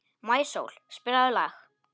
Maísól, spilaðu lag.